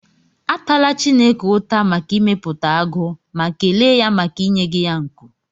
Atala Chineke ụta maka ịmepụta agụ, ma kelee ya maka inyeghị ya nku.